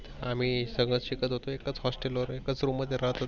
आम्ही सगळ शिकत होतो एकाच Hostel वर एकाच Roomm मध्ये राहत होतो.